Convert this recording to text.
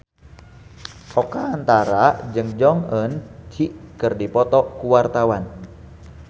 Oka Antara jeung Jong Eun Ji keur dipoto ku wartawan